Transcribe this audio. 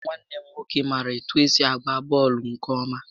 Chisom nwanne m nwoke maara etụ esi agba bọọlụ nkè ọma